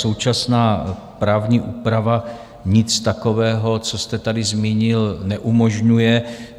Současná právní úprava nic takového, co jste tady zmínil, neumožňuje.